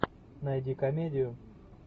найди комедию